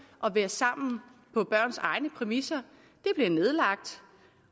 og være sammen på børns egne præmisser bliver nedlagt